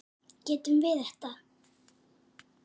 Getum við þetta?